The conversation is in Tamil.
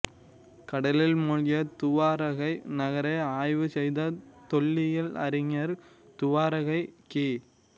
கடலில் மூழ்கிய துவாரகை நகரை ஆய்வு செய்த தொல்லியல் அறிஞர்கள் துவாரகை கி